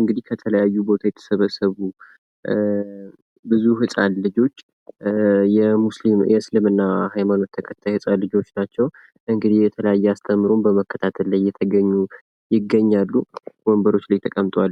እንግዲህ ከተለያዩ ቦታ የተሰበሰቡ ህጻን ልጆች የሙስሊም የእስልምና ሃይማኖት ተከታዮች ናቸው እንግዲህ የተለያየ አስተምሩን በመከታተል የተገኙ ይገኛሉ